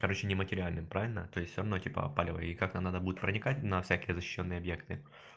короче нематериальным правильно то есть одно типа палево и как надо будет проникать на всякие защищённые объекты